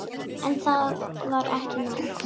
En það var ekki nóg.